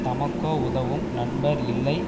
தமக்கோ உதவும் நண்பர் இல்லை